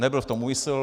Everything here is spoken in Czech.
Nebyl v tom úmysl.